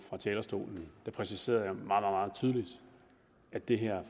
fra talerstolen der præciserede jeg meget meget tydeligt at det her